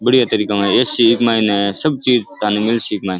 बढ़िया तरीका है --